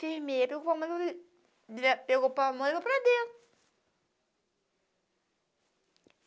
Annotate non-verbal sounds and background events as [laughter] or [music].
enfermeira, [unintelligible] pegou a mãe e foi para dentro.